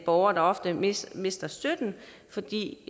borgere der ofte mister mister støtten fordi